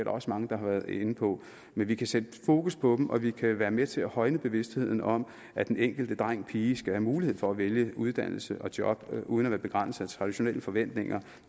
også mange der har været inde på men vi kan sætte fokus på dem og vi kan være med til at højne bevidstheden om at den enkelte drengpige skal have mulighed for at vælge uddannelse og job uden at være begrænset af traditionelle forventninger